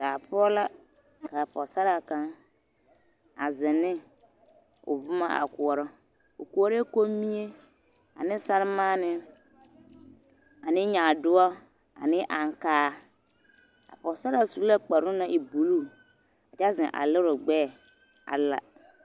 Daa poɔ ka k'a Pɔgesaraa kaŋ a zeŋ ne o boma a koɔrɔ, o koɔrɛɛ kommie ane sɛremaanee ane nyaadoɔ ane aŋkaa, a pɔgesaraa su la kparoŋ naŋ e kpare buluu kyɛ zeŋ a lere o gbɛɛ a la.